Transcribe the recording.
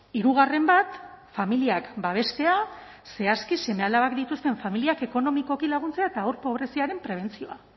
hirugarren bat familiak babestea zehazki seme alabak dituzten familiak ekonomikoki laguntzea eta haur pobreziaren prebentzioa